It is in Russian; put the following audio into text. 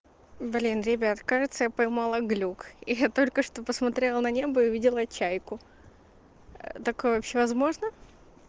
блин ребят кажется я поймала глюк я только что посмотрела на небои увидела чайку ээ такое вообще возможно